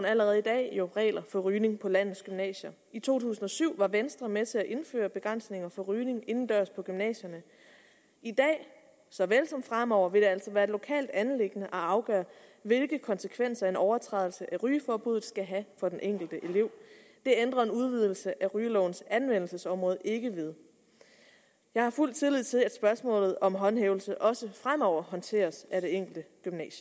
allerede i dag regler for rygning på landets gymnasier i to tusind og syv var venstre med til at indføre begrænsninger for rygning indendørs på gymnasierne i dag såvel som fremover vil det altså være et lokalt anliggende at afgøre hvilke konsekvenser en overtrædelse af rygeforbuddet skal have for den enkelte elev det ændrer en udvidelse af rygelovens anvendelsesområde ikke ved jeg har fuld tillid til at spørgsmålet om håndhævelse også fremover håndteres af det enkelte